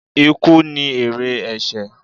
Ikú ni èrè ẹ̀sẹ̀.